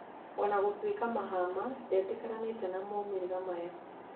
Ona gũtuĩka Mahama ndetĩkĩranĩte na maumĩrĩra maya